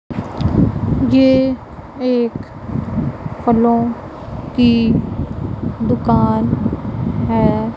ये एक फलों की दुकान है।